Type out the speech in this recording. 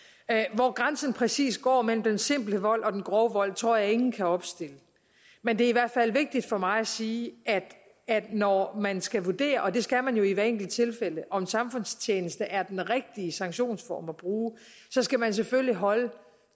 hvor grænsen præcis går mellem den simple vold og den grove vold tror jeg ingen kan opstille men det er i hvert fald vigtigt for mig at sige at når man skal vurdere og det skal man jo i hvert enkelt tilfælde om samfundstjeneste er den rigtige sanktionsform at bruge så skal man selvfølgelig holde